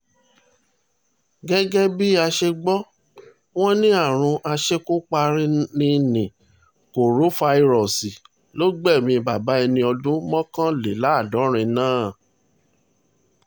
gẹ́gẹ́ bi á ṣe gbọ́ wọn ní àrùn aṣekúparini ni korofairọ́ọ̀sì ló gbẹ̀mí bàbá ẹni ọdún mọ́kànléláàádọ́rin náà